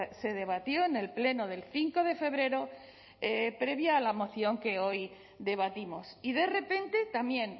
se debatió en el pleno del cinco de febrero previa a la moción que hoy debatimos y de repente también